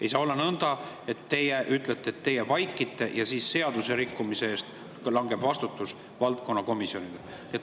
Ei saa olla nõnda, et teie vaikite ja vastutus seaduserikkumise eest langeb valdkonnakomisjonile.